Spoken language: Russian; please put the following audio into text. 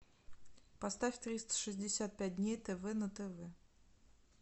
поставь триста шестьдесят пять дней тв на тв